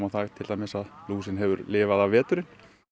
það til dæmis að lúsin hefur lifað af veturinn